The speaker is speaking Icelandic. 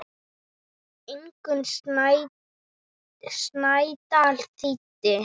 Ingunn Snædal þýddi.